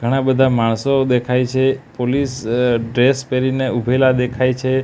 ઘણા બધા માણસો દેખાય છે પોલીસ અ ડ્રેસ પહેરીને ઉભેલા દેખાય છે.